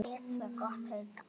Lét það gott heita.